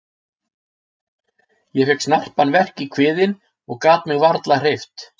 Ég fékk snarpan verk í kviðinn og gat mig varla hreyft.